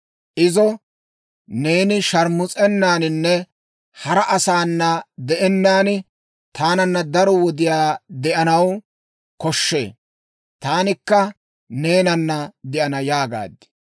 Izo, «Neeni sharmus'ennaaninne hara asaana de'ennaan taananna daro wodiyaa de'anaw koshshee. Taanikka neenana de'ana» yaagaad.